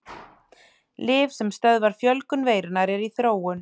Lyf sem stöðva fjölgun veirunnar eru í þróun.